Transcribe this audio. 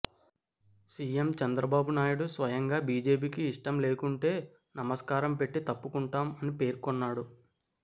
CM Chandrababu Naidu స్వయంగా బీజేపీకి ఇష్టం లేకుంటే నమస్కారం పెట్టి తప్పుకుంటాం అని పేర్కొన్నాడు